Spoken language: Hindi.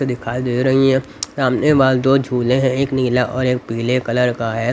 दिखाई दे रही है सामने वाले दो झूले हैं एक नीला और एक पीले कलर का है.